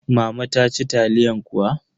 Mama ta ci taliyan kuwa?